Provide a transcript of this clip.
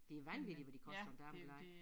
Det vanvittigt hvad de koster dameblade